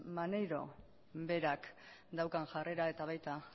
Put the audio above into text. maneiro berak daukan jarrera eta baita